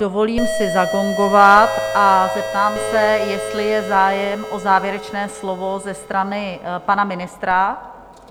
Dovolím si zagongovat a zeptám se, jestli je zájem o závěrečné slovo ze strany pana ministra?